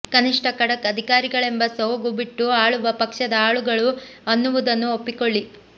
ಕನಿಷ್ಠ ಖಡಕ್ ಅಧಿಕಾರಿಗಳೆಂಬ ಸೋಗು ಬಿಟ್ಟು ಆಳುವ ಪಕ್ಷದ ಆಳುಗಳು ಅನ್ನುವುದನ್ನು ಒಪ್ಪಿಕೊಳ್ಳಿ